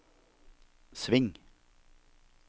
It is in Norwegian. sving